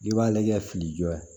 I b'a lajɛ fili jɔ